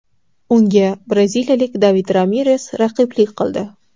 Unga braziliyalik David Ramires raqiblik qildi.